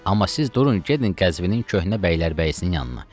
Amma siz durun gedin Qəzvinin köhnə bəylərbəyisinin yanına.